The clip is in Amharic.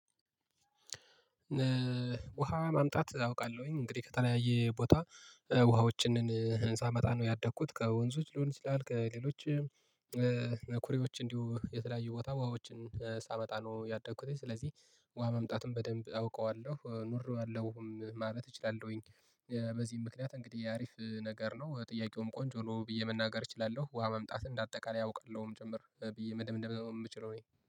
ውሃ ማምጣት አውቃለሁኝ እንግዲህ ከተለያየ ቦታ ውሃዎችን ህንፃ ነው ያደኩት ከወንዞች ሊሆን ይችላል፤ ከሌሎች ነኩሬዎች እንዲሁ የተለያየ ቦታ ውሃዎችን ሳመጣ ነው ያደኩት ስለዚህ ውሃ መምጣቱን በደንብ አውቀዋለሁ ኑሬዋለሁም ማለት እችላለሁኝ፤። በዚህ ምክንያት እንግዲህ አሪፍ ነገር ነው ጥያቄውም ቆንጆ ብዬ መናገር እችላለሁ፤ ውሃ መምጣት እንደ አጠቃላይ አውቃለሁም ጭምር ብዬ መደምደም የምችለው እኔ